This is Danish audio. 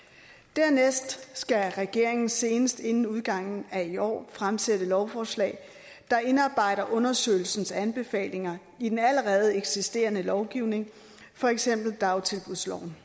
dernæst skal regeringen senest inden udgangen af i år fremsætte lovforslag der indarbejder undersøgelsens anbefalinger i den allerede eksisterende lovgivning for eksempel dagtilbudsloven